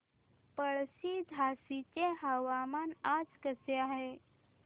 पळशी झाशीचे हवामान आज कसे आहे